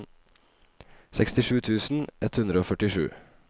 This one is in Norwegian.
sekstisju tusen ett hundre og førtisju